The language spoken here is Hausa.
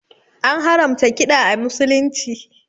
An haramta kiɗa a musulunci